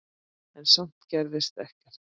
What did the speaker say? En samt gerðist ekkert.